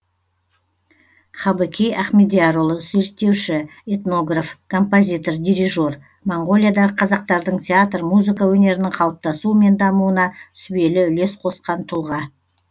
хабыкей ахмедиярұлы зерттеуші этнограф композитор дирижер монғолиядағы қазақтардың театр музыка өнерінің қалыптасуы мен дамуына сүбелі үлес қосқан тұлға